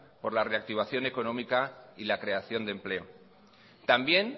por la reactivación económica y la creación de empleo también